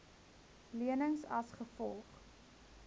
lenings as gevolg